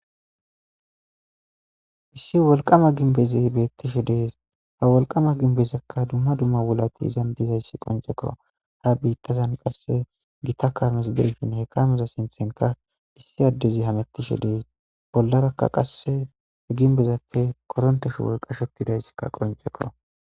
issi wolqama ginbezi beettishe dees ha wolqama ginbezakka dumma dumma wulati izan dizayssi qoncekko ha biittazan qasse gita kames deyfin hekameza sinthenka issi addezi hamettishe dees bollarakka qasse he ginbezappe koronteshu wo qashetidaysskka qoncekko